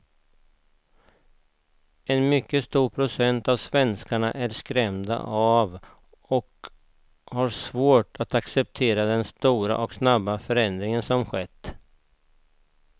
En mycket stor procent av svenskarna är skrämda av och har svårt att acceptera den stora och snabba förändring som skett.